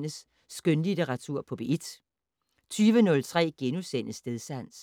19:03: Skønlitteratur på P1 * 20:03: Stedsans *